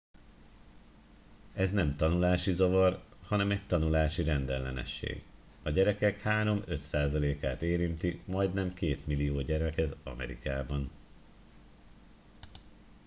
ez nem tanulási zavar hanem egy tanulási rendellenesség a gyerekek 3-5 százalékát érinti majdnem 2 millió gyereket amerikában